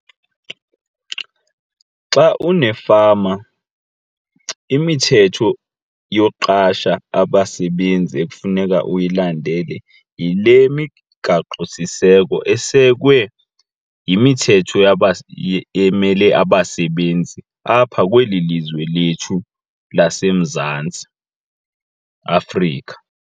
Xa unefama imithetho yoqasha abasebenzi ekufuneka uyilandele yile migaqo siseko esekwe yimithetho emele abasebenzi apha kweli lizwe lethu laseMzantsi Afrika.